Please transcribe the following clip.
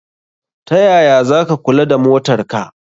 Tayaya zaka kula da motar ka?